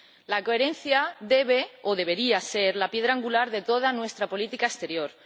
La coherencia debe o debería ser la piedra angular de toda nuestra política exterior.